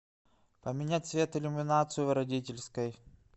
поменять цвет иллюминацию в родительской